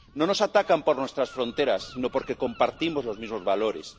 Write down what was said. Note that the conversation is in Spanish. No nos atacan por nuestras fronteras sino porque compartimos los mismos valores.